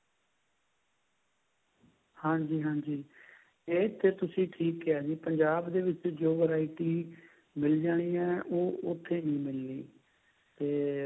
ਹਾਂਜੀ ਹਾਂਜੀ ਇਹ ਤੇ ਤੁਸੀਂ ਠੀਕ ਕਿਹਾ ਨਹੀਂ ਪੰਜਾਬ ਦੇ ਵਿੱਚ ਜੋ variety ਮਿਲ ਜਾਣੀ ਐ ਉਹ ਉੱਥੇ ਨਹੀਂ ਮਿਲਣੀ ਤੇ